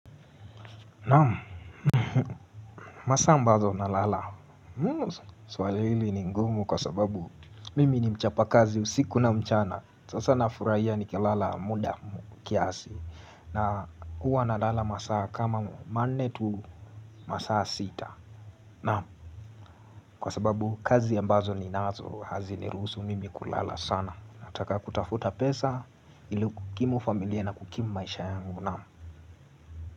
Naam. Masaa ambazo nalala. Swali hili ni ngumu kwa sababu mimi ni mchapa kazi usiku na mchana. Sasa nafurahia nikilala muda kiasi. Na huwa nalala masa kama manne tu masaa sita. Naam. Kwa sababu kazi ambazo ni nazo hazinirusu mimi kulala sana. Nataka kutafuta pesa ili kukimu familia na kukimu maisha yangu. Naam.